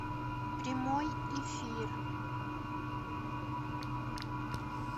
прямой эфир